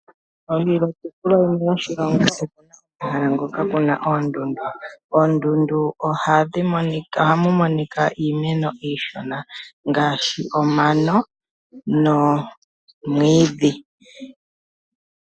Kiitopolwa yilwe yoshilongo okuna omahala ngoka kuna oondundu, koondundu ohaku monikaIimeno iishona ngaashi omano nomwiidhi